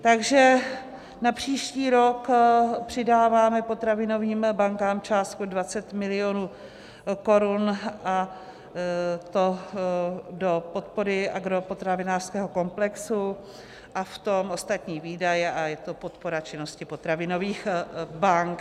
Takže na příští rok přidáváme potravinovým bankám částku 20 mil. korun, a to do podpory agropotravinářského komplexu a v tom ostatní výdaje, a je to podpora činnosti potravinových bank.